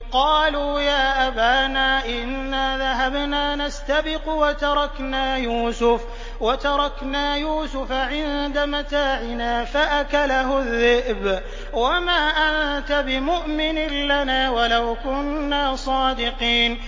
قَالُوا يَا أَبَانَا إِنَّا ذَهَبْنَا نَسْتَبِقُ وَتَرَكْنَا يُوسُفَ عِندَ مَتَاعِنَا فَأَكَلَهُ الذِّئْبُ ۖ وَمَا أَنتَ بِمُؤْمِنٍ لَّنَا وَلَوْ كُنَّا صَادِقِينَ